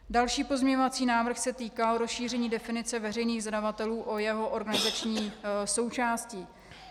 Další pozměňovací návrh se týká rozšíření definice veřejných zadavatelů o jeho organizační součásti.